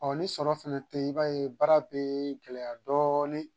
Ɔɔ ni sɔrɔ fɛnɛ te yen, i b'a ye baara bɛ gɛlɛya dɔɔni.